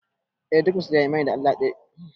Eh duk musulmi ya yi imani da cewa Allah ɗaya ne